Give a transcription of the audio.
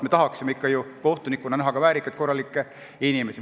Me tahaksime kohtunikena näha ikkagi väärikaid ja korralikke inimesi.